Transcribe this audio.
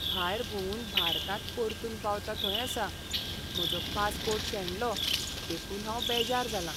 भायर भोंवून भारतांत परतून पावता थंय आसा, म्हजो पासपोर्ट शेणलो देखून हांव बेजार जालां.